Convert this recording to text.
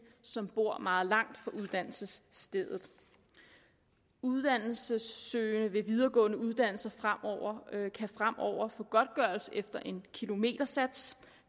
som bor meget langt fra uddannelsesstedet uddannelsessøgende ved videregående uddannelser kan fremover få godtgørelse efter en kilometersats